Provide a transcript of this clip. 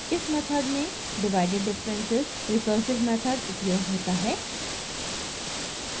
इस मेथड में divided differences recursive method उपयोग होता है